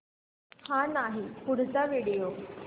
हा नाही पुढचा व्हिडिओ